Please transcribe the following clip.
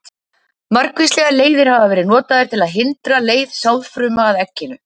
Margvíslegar leiðir hafa verið notaðar til að hindra leið sáðfruma að egginu.